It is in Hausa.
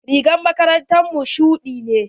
Rigar makarantar mu shuɗi ne.